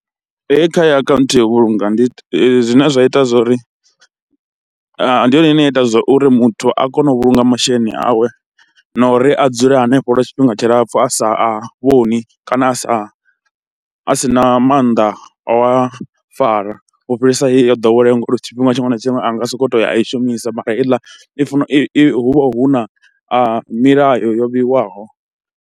Hei kha ya akhaunthu ya u vhulunga ndi zwine zwa ita zwa uri ndi yone ine ya ita uri muthu a kone u vhulunga masheleni awe na uri a dzule hanefho lwa tshifhinga tshilapfhu a sa a vhoni kana a sa, a si na maanḓa a u a fara, u fhirisa heyi yo ḓoweleaho ngauri tshifhinga tshiṅwe na tshiṅwe a nga sokou tou ya a i shumisa mara heiḽa i funa i hu vha hu na milayo yo vheiwaho.